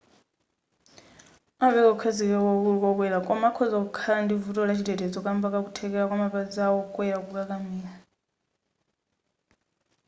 amapereka kukhazikika kwakukulu kwa okwera koma akhoza kukhala ndi vuto la chitetezo kamba ka kuthekera kwa mapazi a okwera kukakamira